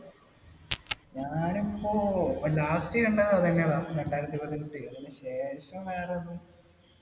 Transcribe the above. ഞാനിപ്പോൾ last കണ്ടത് അതുതന്നെടാ രണ്ടായിരത്തി പതിനെട്ട്. അതിനു ശേഷം വേറെ ഒന്നും